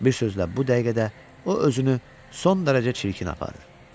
Bir sözlə bu dəqiqədə o özünü son dərəcə çirkin aparır.